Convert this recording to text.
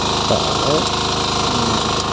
സതേ ഉം